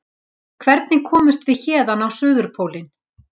Hvernig komumst við héðan á Suðurpólinn?